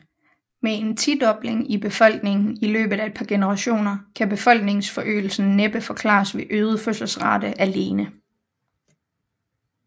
Med en tidobling i befolkningen i løbet af et par generationer kan befolkningsforøgelsen næppe forklares ved øget fødselsrate alene